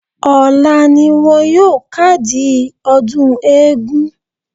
Ọ̀la ni wọn yóò kádìí ọdún eégún.